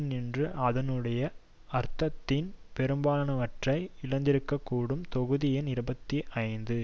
நின்று அதனுடைய அர்த்தத்தின் பெரும்பாலானவற்றை இழந்திருக்கக்கூடும் தொகுதி எண் இருபத்தி ஐந்து